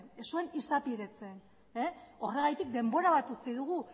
ez zuen izapidetzen horregatik denbora bat utzi dugu